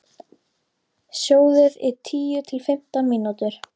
Sjóðið í tíu til fimmtán mínútur.